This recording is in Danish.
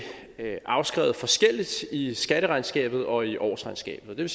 afskrevet forskelligt i skatteregnskabet og i årsregnskabet det